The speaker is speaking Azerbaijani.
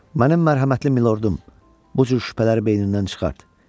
Mənim mərhəmətli milordum, bu cür şübhələri beynindən çıxart.